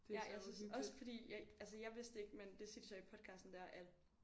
Ja jeg synes også fordi jeg altså jeg vidste det ikke men det siger de så i podcasten dér at